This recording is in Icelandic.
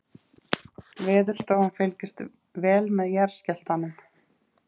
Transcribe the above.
Veðurstofan fylgist vel með jarðskjálftunum